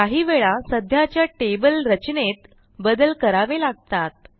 काही वेळा सध्याच्या टेबल रचनेत बदल करावे लागतात